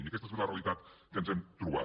i aquesta és la realitat que ens hem trobat